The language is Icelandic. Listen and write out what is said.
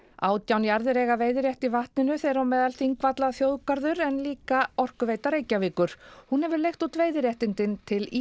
átján jarðir eiga veiðirétt í vatninu þeirra á meðal Þingvallaþjóðgarður en líka Orkuveita Reykjavíkur hún hefur leigt út veiðiréttindin til